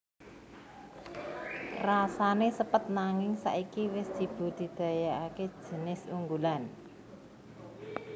Rasané sepet nanging saiki wis dibudidayakaké jinis unggulan